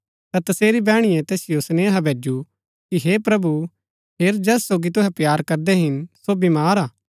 ता तसेरी बैहणीये तैसिओ सेनेहा भैजु कि हे प्रभु हेर जैस सोगी तुहै प्‍यार करदै हिन सो बीमार हा